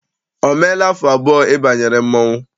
O meela afọ abụọ ị banyere mmọnwụ?